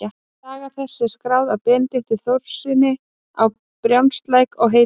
Saga þessi er skráð af Benedikt Þórðarsyni á Brjánslæk og heitir